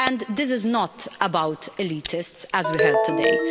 This is not about elitists, as we heard today.